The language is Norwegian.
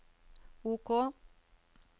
OK